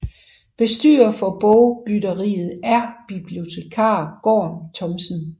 Bestyrer for bogbytteriet er bibliotekar Gorm Thomsen